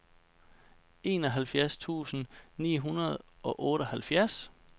enoghalvfjerds tusind ni hundrede og otteoghalvfjerds